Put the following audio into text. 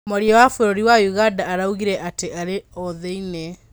Mearĩa wa bũrũri wa ũganda araugĩre atĩ arĩ o thĩiniĩ.